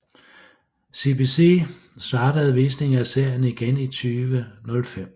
CBC startede visninger af serien igen i 2005